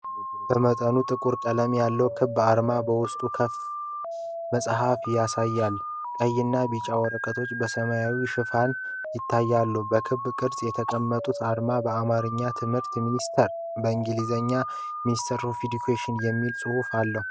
በመጠኑ ጥቁር ቀለም ያለው ክብ አርማ በውስጡ ክፍት መጽሐፍ ያሳያል፤ ቀይና ቢጫ ወረቀቶች በሰማያዊ ሽፋኖች ይታያሉ። በክብ ቅርጽ የተቀመጠው አርማ በአማርኛ "ትምህርት ሚኒስቴር" እና በእንግሊዝኛ "MINISTRY OF EDUCATION" የሚል ጽሑፍ አለው።